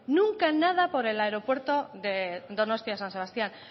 nunca nada por el aeropuerto de donostia san sebastián